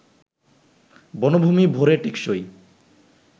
বনভূমি ভরে টেকসই